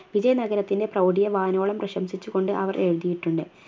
വിജയ നഗരത്തിൻറെ പ്രൗഡിയെ വാനോളം പ്രശംസിച്ചുകൊണ്ട് അവർ എഴുതിയിട്ടുണ്ട്